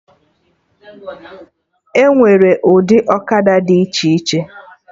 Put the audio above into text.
Enwere ụdị ọkada dị iche iche